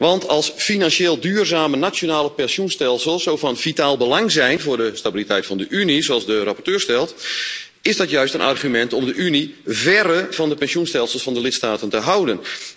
Want als financieel duurzame nationale pensioenstelsels van zulk vitaal belang zijn voor de stabiliteit van de Unie, zoals de rapporteur stelt, is dat juist een argument om de Unie verre van de pensioenstelsels van de lidstaten te houden!